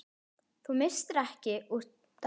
Þú misstir ekki úr dag.